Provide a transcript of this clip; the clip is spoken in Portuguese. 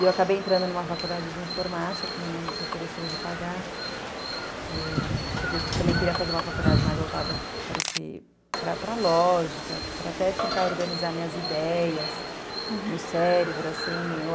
E eu acabei entrando em uma faculdade de informática, que minha mãe se ofereceu de pagar, porque eu também queria fazer uma faculdade mais voltada para a lógica, para até tentar organizar minhas ideias, meu cérebro, assim